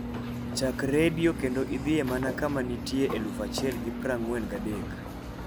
chak redio kendo idhie mana kama nitie eluf achiel gi praangwe gi adek